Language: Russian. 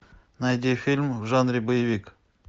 найди фильм в жанре боевик